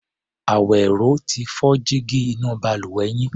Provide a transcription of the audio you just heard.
Àwẹ̀ró ti fọ́ jígí inú balùwẹ̀ yín.